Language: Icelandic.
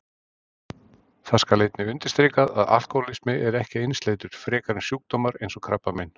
Það skal einnig undirstrikað að alkóhólismi er ekki einsleitur frekar en sjúkdómar eins og krabbamein.